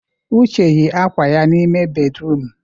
Uche yi akwa ya n'ime bédrụum.